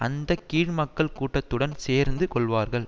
அந்த கீழ் மக்கள் கூட்டத்துடன் சேர்ந்து கொள்வார்கள்